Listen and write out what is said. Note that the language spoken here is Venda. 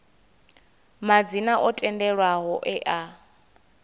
madzina o tendelwaho e a